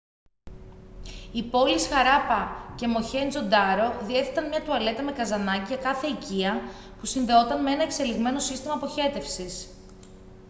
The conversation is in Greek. οι πόλεις χαράπα και μοχέντζο ντάρο διέθεταν μια τουαλέτα με καζανάκι για κάθε οικία που συνδεόταν με ένα εξελιγμένο σύστημα αποχέτευσης